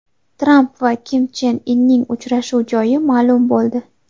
Tramp va Kim Chen Inning uchrashuvi joyi ma’lum bo‘ldi.